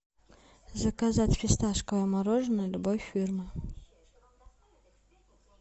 заказать фисташковое мороженое любой фирмы